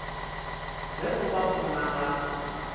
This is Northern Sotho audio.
le go ba gona ga